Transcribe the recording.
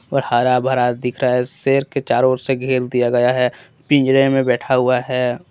और हरा भरा दिख रहा है शेर के चारों ओर से घेर दिया गया है पिंजरे में बैठा हुआ है।